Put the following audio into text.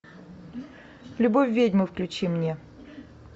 любовь ведьмы включи мне